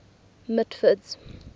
mitford's